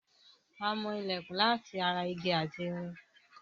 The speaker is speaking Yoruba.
A mọ ilẹ̀kùn látara igi ati irin